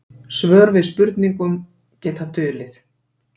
Svör við spurningum geta dulið.